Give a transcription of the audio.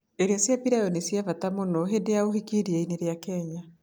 Irio cia pilau nĩ cia bata mũno hĩndĩ ya ũhiki iria-inĩ rĩa Kenya.